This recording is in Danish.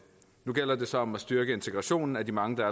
nu gælder det så om at styrke integrationen af de mange der